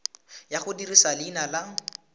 ya go dirisa leina la